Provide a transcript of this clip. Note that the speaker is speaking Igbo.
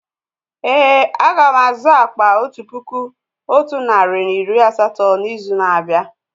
Èé, a ga m azụ akpà otu puku otu narị na iri asatọ n'izu na-abịa.